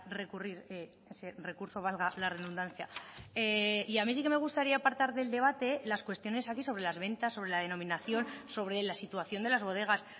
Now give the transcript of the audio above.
recurrir ese recurso valga la redundancia y a mí sí que me gustaría apartar del debate las cuestiones aquí sobre las ventas sobre la denominación sobre la situación de las bodegas